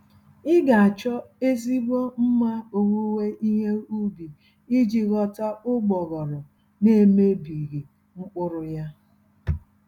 Ị ga-achọ ezigbo mma owuwe ihe ubi iji ghọta ụgbọghọrọ nemebighị mkpụrụ yá